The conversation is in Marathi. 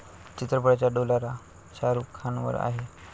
चित्रपटाचा डोलारा शाहरूख खानवर आहे.